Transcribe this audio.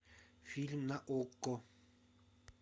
фильм на окко